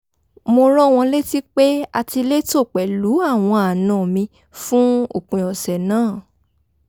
mo rán wọn létí pé a ti létò pẹ̀lú àwọn àna mi fún òpin ọ̀sẹ̀ náà